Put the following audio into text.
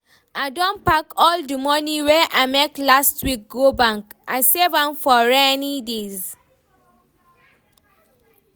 I don pack all the money wey I make last week go bank, I save am for rainy days